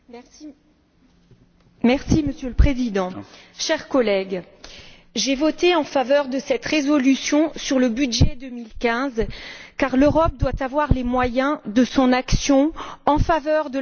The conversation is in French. Monsieur le Président, chers collègues, j'ai voté en faveur de cette résolution sur le budget 2015 car l'Europe doit avoir les moyens de son action en faveur de la croissance et de l'emploi.